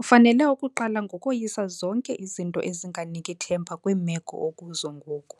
Ufanele ukuqala ngokoyisa zonke izinto ezinganiki themba kwiimeko okuzo ngoku.